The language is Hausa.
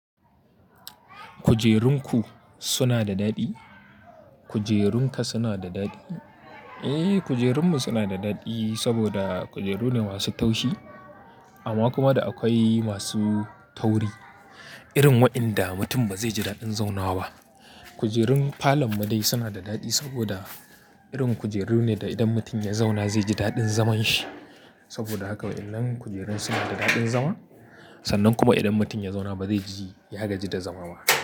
Kujerun ku suna da daɗi? Kujerun ka suna da daɗi? Eh, kujerunmu suna da daɗi saboda kujeru ne masu taushi amma kuma da akwai masu tauri irin wainda mutum ba zai ji daɗin zauna ba. Kujerun falon mu dai suna da daɗi saboda irin kujeru ne da idan mutum ya zauna zai ji daɗin zaman shi. Saboda haka wainnan kujerun suna da daɗin zama sannan kuma idan mutum ya zauna ba zai ji ya gaji da zama ba.